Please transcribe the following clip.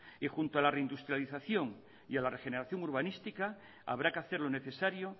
y junto a la reindustrialización y a la regeneración urbanística habrá que hacer lo necesario